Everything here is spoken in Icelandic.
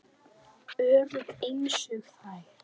Örugg einsog þær.